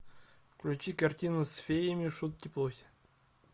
включи картину с феями шутки плохи